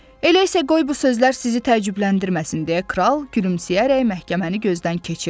Elə isə qoy bu sözlər sizi təəccübləndirməsin, deyə kral gülümsəyərək məhkəməni gözdən keçirdi.